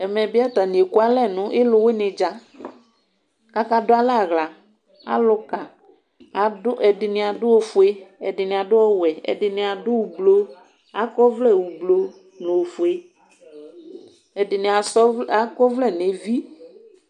Ɛmɛbi atani ekʋalɛ nʋ ilʋwini dza kʋ akadʋ alɛ aɣla alʋka ɛdini adʋ awʋfue ɛdini adʋ ʋblʋ akɔ ɔvlɛ ʋblʋ nʋ ofue ɛdini asa akɔ ɔvlɛ nʋ evi